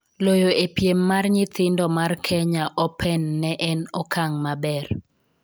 Loyo e piem mar nyithindo mar kenya open ne en okang maber